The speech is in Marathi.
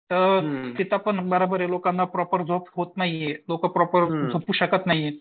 तर तिथं पण ये बराबर लोकांना प्रॉपर झोप नाहीये लोकं प्रॉपर झोपू शकत नाहीयेत